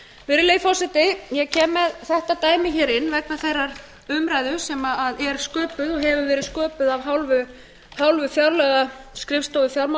virðulegi forseti ég kem með þetta dæmi hingað inn vegna þeirrar umræðu sem er sköpuð og hefur verið sköpuð af hálfu fjárlagaskrifstofu